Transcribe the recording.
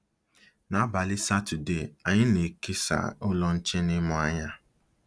N’abalị Satọdee, anyị na-ekesa Ụlọ Nche na ịmụ anya!